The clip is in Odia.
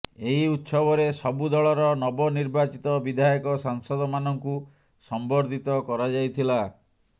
ଏହି ଉତ୍ସବରେ ସବୁ ଦଳର ନବ ନିର୍ବାଚିତ ବିଧାୟକ ସାଂସଦମାନଙ୍କୁ ସମ୍ବର୍ଦ୍ଧିତ କରାଯାଇଥିଲା